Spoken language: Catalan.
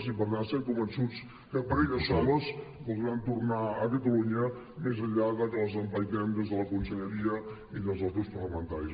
i per tant estem convençuts que per elles soles voldran tornar a catalunya més enllà que les empaitem des de la conselleria i des dels grups parlamentaris